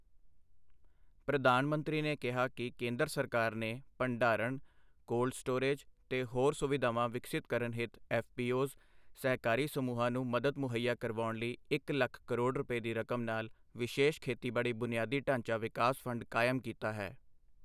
ਪ੍ਰਧਾਨ ਮੰਤਰੀ ਨੇ ਕਿਹਾ ਕਿ ਕੇਂਦਰ ਸਰਕਾਰ ਨੇ ਭੰਡਾਰਣ, ਕੋਲਡ ਸਟੋਰੇਜ ਤੇ ਹੋਰ ਸੁਵਿਧਾਵਾਂ ਵਿਕਸਿਤ ਕਰਨ ਹਿਤ ਐੱਫਪੀਓਜ਼, ਸਹਿਕਾਰੀ ਸਮੂਹਾਂ ਨੂੰ ਮਦਦ ਮੁਹੱਈਆ ਕਰਵਾਉਣ ਲਈ ਇੱਕ ਲੱਖ ਕਰੋੜ ਰੁਪਏ ਦੀ ਰਕਮ ਨਾਲ ਵਿਸ਼ੇਸ਼ ਖੇਤੀਬਾੜੀ ਬੁਨਿਆਦੀ ਢਾਂਚਾ ਵਿਕਾਸ ਫ਼ੰਡ ਕਾਇਮ ਕੀਤਾ ਹੈ।